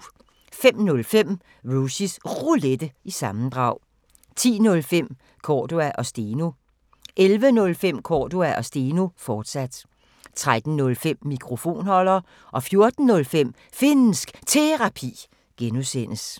05:05: Rushys Roulette – sammendrag 10:05: Cordua & Steno 11:05: Cordua & Steno, fortsat 13:05: Mikrofonholder 14:05: Finnsk Terapi (G)